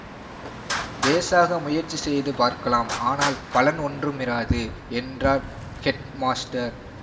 பேஷாக முயற்சி செய்து பார்க்கலாம் ஆனால் பலன் ஒன்றுமிராது என்றார் ஹெட்மாஸ்டர்